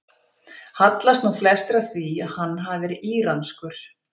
Hallast nú flestir að því að hann hafi verið íranskur.